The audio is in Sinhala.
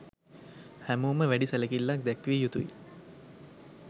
හැමෝම වැඩි සැලකිල්ලක් දැක්විය යුතුයි.